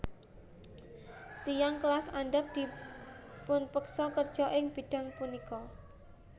Tiyang kelas andhap dipupeksa kerja ing bidang punika